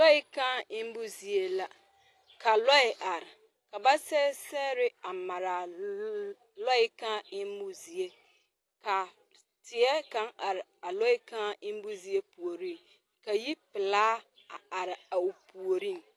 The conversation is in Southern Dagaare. Lɔɛ kaa eŋmo zie la ka lɔɛ are ka ba sɛge sɛgre a mare a lɔɛ kaa eŋmo zie ka teɛ kaŋ are a lɔɛ kaa eŋmo zie puoriŋ ka yipelaa a are a o puoriŋ.